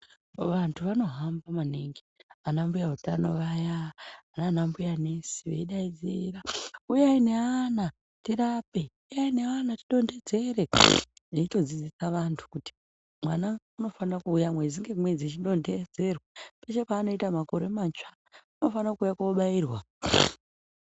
Vantu vanohamba maningi anambuya utano vaya nanambuya nesi veidaidzira 'uyai neana tirape!', 'uyai neana tidontedzere!' Veitodzidzisa vantu kuti mwana unofana kuuya mwedzi ngemwedzi eidondedzerwa. Peshe paanoita makore matsva unofana kuuya kobairwa.